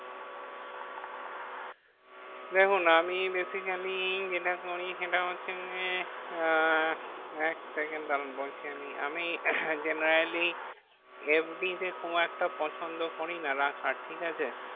দেখুন আমি basically যেটা করি সেটা হচ্ছে যে, আহ এক সেকেন্ড দাঁড়ান বলছি আমি। আমি generaly FD তে খুব একটা পছন্দ করিনা রাখার, ঠিক আছে?